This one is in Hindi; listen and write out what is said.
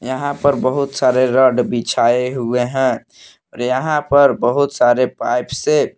यहां पर बहुत सारे रॉड बिछाए हुए हैं और यहां पर बहुत सारे पाइप से--